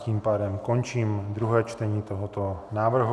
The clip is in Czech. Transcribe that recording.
Tím pádem končím druhé čtení tohoto návrhu.